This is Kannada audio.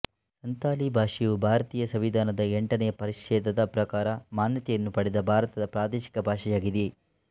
ಸಂತಾಲಿ ಭಾಷೆಯು ಭಾರತೀಯ ಸಂವಿಧಾನದ ಎಂಟನೇ ಪರಿಚ್ಛೆದದ ಪ್ರಕಾರ ಮಾನ್ಯತೆಯನ್ನು ಪಡೆದ ಭಾರತದ ಪ್ರಾದೇಶಿಕ ಭಾಷೆಯಾಗಿದೆ